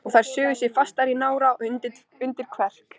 Og þær sugu sig fastar í nára og undir kverk.